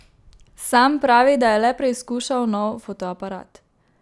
Sam pravi, da je le preizkušal nov fotoaparat.